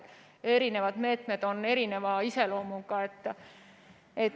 Eri meetmed on erineva iseloomuga.